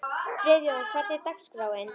Friðjóna, hvernig er dagskráin?